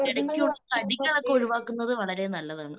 ഇടയ്ക്കുള്ള കടികളൊക്കെ ഒഴിവാക്കുന്നത് വളരേ നല്ലതാണ്.